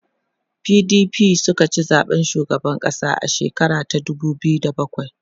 PDP sukaci zaɓen shugaban ƙasa a shekara ta dubu biyu da bakwai